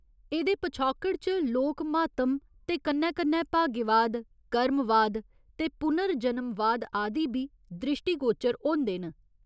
एह्दे पछौकड़ च लोक म्हात्म ते कन्नै कन्नै भाग्यवाद, कर्मवाद ते पुनर्जनमवाद आदि बी द्रिश्टीगोरचर होंदे न।